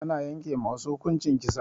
Ana yanke ma wasu hukuncin kisa.